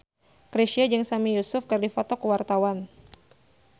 Chrisye jeung Sami Yusuf keur dipoto ku wartawan